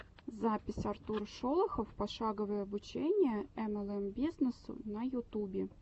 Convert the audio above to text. запись артур шолохов пошаговое обучение млм бизнесу на ютубе